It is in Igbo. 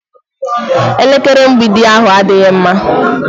Elekere mgbidi ahu adịghị mma.